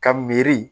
Ka miiri